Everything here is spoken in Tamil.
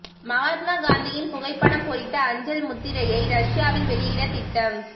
மகாத்மா காந்தியின் புகைப்படம் பொறித்த அஞ்சல் முத்திரையை ரஷ்யாவில் வெளியிட திட்டம்